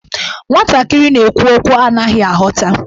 Nwantakịrị na-ekwu okwu a na-anaghị aghọta.